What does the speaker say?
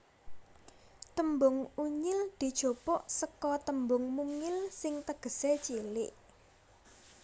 Tembung Unyil dijupuk seka tembung mungil sing tegesé cilik